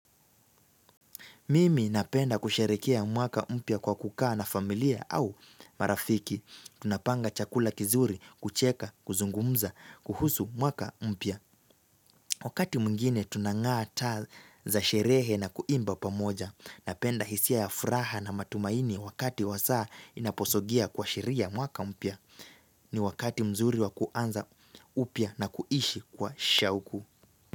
Mimi napenda kusherekea mwaka mpya kwa kukaa na familia au marafiki. Tunapanga chakula kizuri, kucheka, kuzungumza, kuhusu mwaka umpia. Wakati mungine tunangaa taa za sherehe na kuimba pamoja. Napenda hisia ya furaha na matumaini wakati wa saa inaposogea kwa shiria mwaka umpia. Ni wakati mzuri wa kuanza upya na kuishi kwa shawuku.